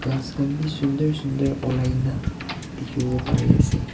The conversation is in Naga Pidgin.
ghas khan bi shundur shundur ulai na dikhiwo pari ase.